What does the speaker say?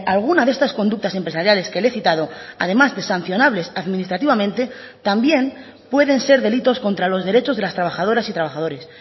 alguna de estas conductas empresariales que le he citado además de sancionables administrativamente también pueden ser delitos contra los derechos de las trabajadoras y trabajadores